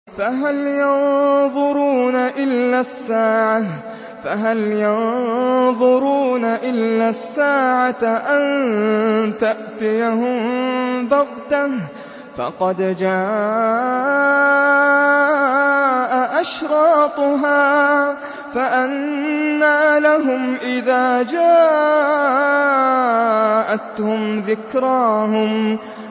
فَهَلْ يَنظُرُونَ إِلَّا السَّاعَةَ أَن تَأْتِيَهُم بَغْتَةً ۖ فَقَدْ جَاءَ أَشْرَاطُهَا ۚ فَأَنَّىٰ لَهُمْ إِذَا جَاءَتْهُمْ ذِكْرَاهُمْ